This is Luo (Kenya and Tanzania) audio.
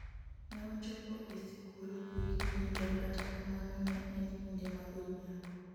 ne wachopo e sikul gokinyi to kata kamano ne en kinde ma godhiambo